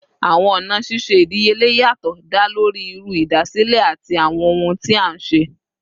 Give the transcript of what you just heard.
Awọn ọna ṣiṣe idiyele yatọ da lori iru idasile ati awọn ohun ti a nṣe